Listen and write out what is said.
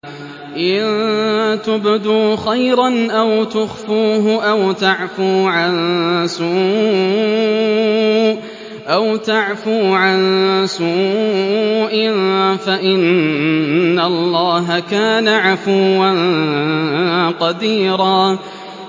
إِن تُبْدُوا خَيْرًا أَوْ تُخْفُوهُ أَوْ تَعْفُوا عَن سُوءٍ فَإِنَّ اللَّهَ كَانَ عَفُوًّا قَدِيرًا